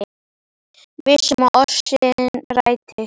Viss um að ósk sín rætist.